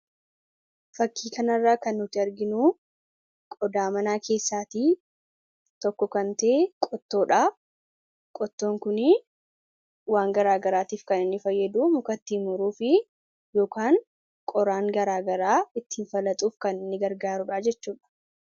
Fakkii kanarraa kan nuti arginu qodaa manaa keessaatii tokko kan ta'e qottoodha. Qottoon kun waan garaagaraatiif kan inni fayyadu muka ittiin muruuf yookaan qoraan garaagaraa ittiin baqaqsuuf kan nu gargaarudha jechuudha.